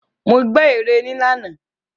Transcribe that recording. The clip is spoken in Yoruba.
Mo gbè ère ní àná.